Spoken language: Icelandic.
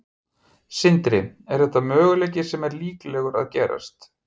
Sindri: Er þetta möguleiki sem að er líklegur að gerist?